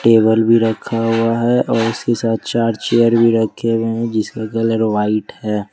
Table भी रखा हुआ है और उसके साथ चार्जर भी रखे हुए हैं जिसका कलर व्हाइट है।